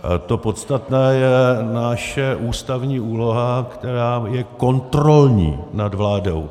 To podstatné je naše ústavní úloha, která je kontrolní nad vládou.